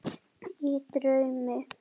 Í draumi